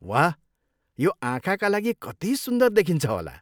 वाह! यो आँखाका लागि कति सुन्दर देखिन्छ होला।